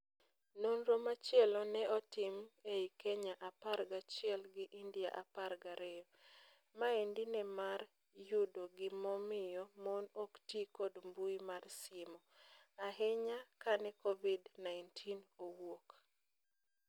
Nonro machielo ne otim ei Kenya apar gachiel gi India apar gario. Maendi ne mar yudo gimomio mon oktii kod mbui mar simo. Ahinya kane Covid -19 owuok.